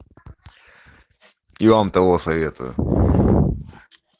и вам того советую